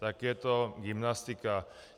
Tak je to gymnastika.